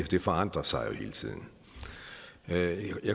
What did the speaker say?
det forandrer sig hele tiden jeg